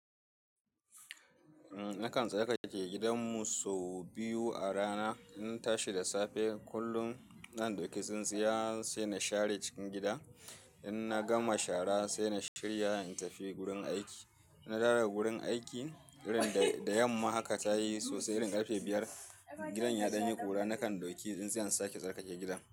Eh nakan tsarkake gidan mu sau biyu a rana. In tashi da safe kullum zan ɗauki tsintsiyar sai na share cikin gida. In na gama shara sai na shirya in tafi gurin aiki. In na dawo da gurin aiki, irin da yamma haka tayi sosai, irin karfe biyar, gidan ya danye ƙura nakan ɗauki tsintsiya in sake tsarkake gidan.